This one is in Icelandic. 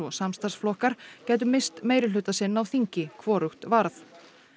og samstarfsflokkar gætu misst meirihluta sinn á þingi hvorugt varð